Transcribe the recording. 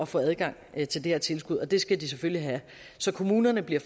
få adgang til det her tilskud og det skal de selvfølgelig have så kommunerne bliver